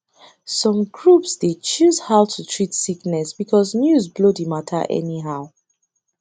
some groups dey choose how to treat sickness because news blow the matter anyhow